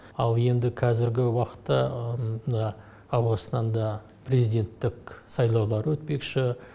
ал енді қазіргі уақытта мына ауғанстанда президенттік сайлаулар өтпекші